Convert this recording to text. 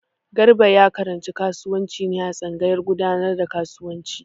Garba ya karanci kasuwanci ne a tsangayar gudanar da kasuwanci.